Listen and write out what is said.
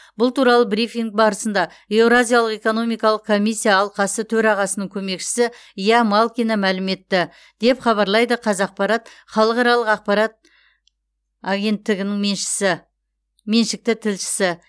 бұл туралы брифинг барысында еуразиялық экономикалық комиссия алқасы төрағасының көмекшісі ия малкина мәлім етті деп хабарлайды қазақпарат халықаралық ақпарат агенттігінің меншікті тілшісі